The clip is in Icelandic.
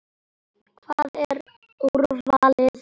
Hvað, er úrvalið þar?